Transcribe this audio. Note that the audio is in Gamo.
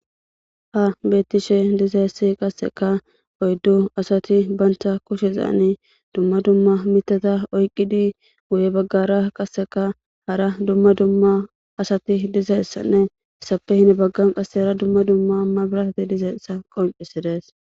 Ha beettishe dizessi qasseka oyddu asati banta kushezaane dumma dumma mitata oyqqidi guye baggara qasseka hara dumma dumma asati dizeessanne issappe hine baggan qasse hara dumma dumma mma birasati dizeessa qoncisides.